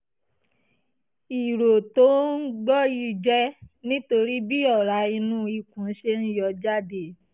ìró tó ò ń gbọ́ yìí jẹ́ nítorí bí ọ̀rá inú ikùn ṣe ń yọ jáde